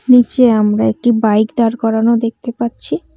নীচে আমরা একটি বাইক দাঁড় করানো দেখতে পাচ্ছি।